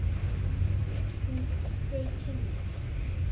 Þau kynna sig.